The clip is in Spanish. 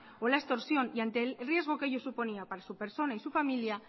o la extorsión y ante el riesgo que ello suponía para su persona y su familia